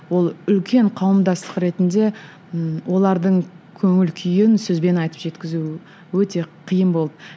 ол үлкен қауымдастық ретінде ммм олардың көңіл күйін сөзбен айтып жеткізу өте қиын болды